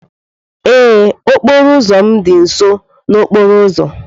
Ee, okporo ụzọ m dị nso n'okporo ụzọ.